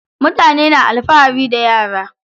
Mutane na alfahari da yara.